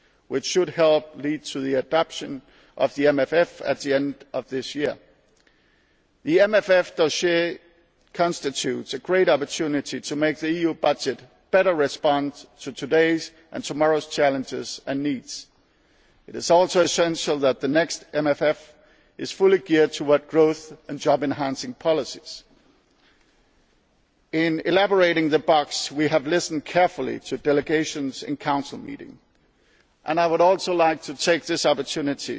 for the final agreement, which should help lead to the adoption of the MFF at the end of this year. The MFF dossier constitutes a great opportunity to make the EU budget respond better to today's and tomorrow's challenges and needs. It is also essential that the next MFF is fully geared towards growth and job enhancing policies. In putting the box together we have listened carefully to delegations in Council meetings. I would also